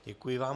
Děkuji vám.